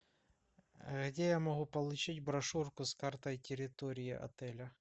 где я могу получить брошюрку с картой территории отеля